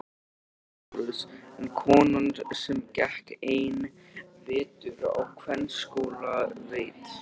LÁRUS: En konan sem gekk einn vetur á kvennaskóla veit.